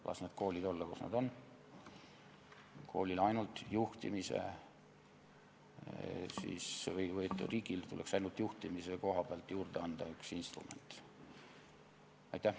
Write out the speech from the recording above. Las need koolid olla, kus nad on, riigile tuleks ainult juhtimise koha pealt üks instrument juurde anda.